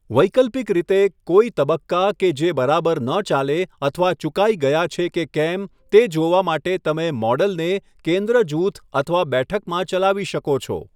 વૈકલ્પિક રીતે, કોઇ તબક્કા કે જે બરાબર ન ચાલે અથવા ચૂકાઇ ગયા છે કે કેમ તે જોવા માટે તમે મોડલને કેંદ્ર જૂથ અથવા બેઠકમાં ચલાવી શકો છો.